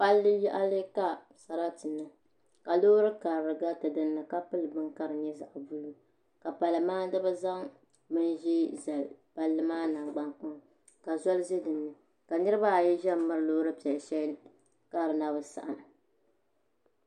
Palli yaɣali ka sarati niŋ ka loori karili gariti dinni ka pili bini ka di nyɛ zaɣ buluu ka pali maandibi zaŋ bin ʒiɛ zali palli maa nangbani kpaŋa ka zoli ʒɛ dinni ka niraba ayi ʒɛ n miri loori piɛli shɛli ka di na bi saɣam